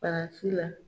Farafin la